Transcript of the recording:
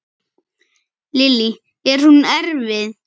Lillý: Er hún erfið?